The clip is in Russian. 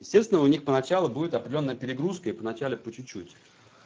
естественно у них поначалу будет определённая перегрузка и в начале по чуть-чуть